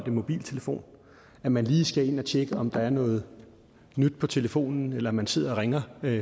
mobiltelefon når man lige skal ind at tjekke om der er noget nyt på telefonen eller man sidder og ringer